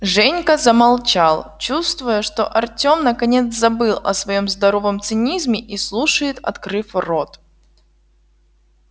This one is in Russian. женька замолчал чувствуя что артём наконец забыл о своём здоровом цинизме и слушает открыв рот